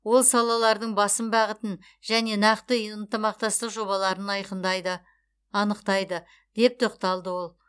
ол салалардың басым бағытын және нақты ынтымақтастық жобаларын анықтайды деп тоқталды ол